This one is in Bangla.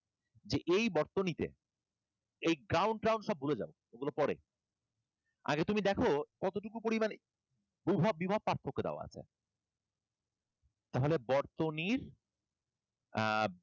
যে এই বর্তনীতে এই ground ট্রাউন্ড সব ভুলে যাও এগুলো পরে আগে তুমি দেখো কতটুকু পরিমাণে বুভব~ বিভব পার্থক্য দেওয়া আছে তাহলে বর্তনীর আহ